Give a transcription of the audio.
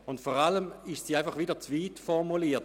Vor allem ist sie zu weit formuliert.